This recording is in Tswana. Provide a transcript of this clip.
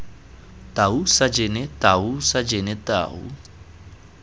tau sajene tau sajene tau